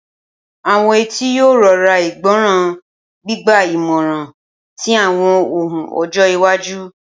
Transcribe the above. Awọn etí yoo rọra igbọran, gbigba imọran ti awọn ohun ojo iwaju.